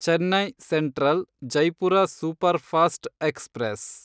Chennai central Jaipur superfast express